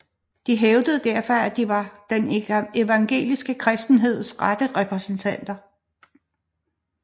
De hævdede derfor at de var den evangeliske kristenheds rette repræsentanter